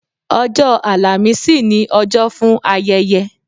Ọjọ́ àlàmísì ni ọjọ́ fún ayẹyẹ